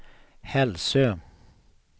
Hälsö